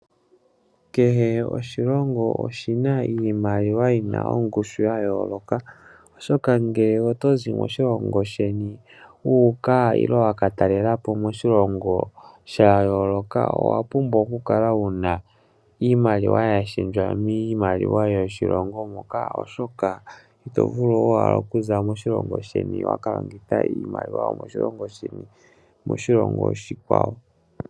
Kehe oshilongo oshina iimaliwa yina ongushu ya yoloka, oshoka ngele otozi moshilongo shayeni wu uka nenge waka talelapo koshilongo shayoloka owa pumbwa oku kala wuna iimaliwa yashendjwa miimaliwa yoshilongo moka, oshoka ito vulu oku za moshilongo shayeni etoka longitha iimaliwa yomoshilongo oshi kwawo.